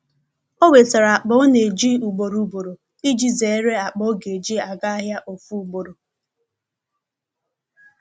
o wetara akpa ọ na eji ugboro ugboro iji zere akpa ọ ga eji aga ahia ofu ugboro.